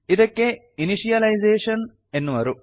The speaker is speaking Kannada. ಇದಕ್ಕೆ ಇನಿಶಿಯಲೈಜೇಶನ್ ಎನ್ನುವರು